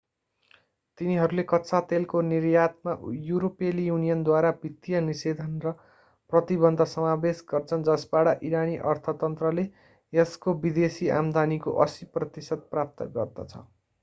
तिनीहरूले कच्चा तेलको निर्यातमा युरोपेली युनियनद्वारा वित्तीय निषेधन र प्रतिबन्ध समावेश गर्छन् जसबाट इरानी अर्थतन्त्रले यसको विदेशी आम्दानीको 80% प्राप्त गर्दछ